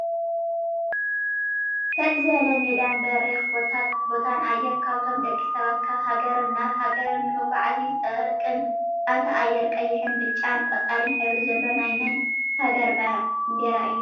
ሰጥ ዝበለ ሜዳን በሪክ ቦታን ኣየር ካብቶም ደቂ ሰባት ካብ ሃገርን ናብ ሃገርን ንመጎዓዚ ዝጠቅም ኣብታ ኣየር ቀይሕን ብጫን ቆፃልን ሕብሪ ዘሎ ናይ መን ሃገር ባንዴራ እዩ?